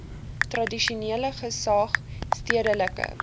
tradisionele gesag stedelike